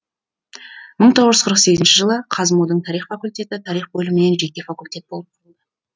мың тоғыз жүз қырық сегізінші жылы қазму дың тарих факультеті тарих бөлімінен жеке факультет болып құрылды